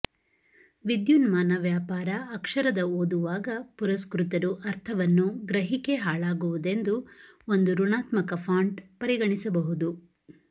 ವಿದ್ಯುನ್ಮಾನ ವ್ಯಾಪಾರ ಅಕ್ಷರದ ಓದುವಾಗ ಪುರಸ್ಕೃತರು ಅರ್ಥವನ್ನು ಗ್ರಹಿಕೆ ಹಾಳಾಗುವುದೆಂದು ಒಂದು ಋಣಾತ್ಮಕ ಫಾಂಟ್ ಪರಿಗಣಿಸಬಹುದು